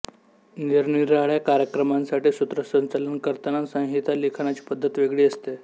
निरनिराळ्या कार्यक्रमांसाठी सूत्रसंचालन करताना संहिता लिखाणाची पद्धत वेगळी असते